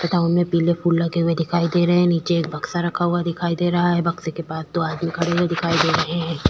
तथा उनमे पिले फूल लगे हुए दिखाई दे रहै है नीचे एक बक्शा रखा हुआ दिखाई दे रहा है बक्शे के पास दो आदमी खड़े हुए दिखाई दे रहै है।